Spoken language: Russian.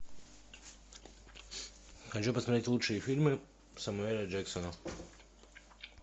хочу посмотреть лучшие фильмы самуэля джексона